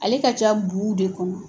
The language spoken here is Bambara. Ale ka ca buw de kɔnɔ.